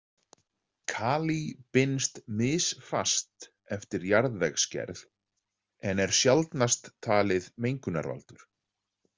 Kalí binst misfast eftir jarðvegsgerð en er sjaldnast talið mengunarvaldur.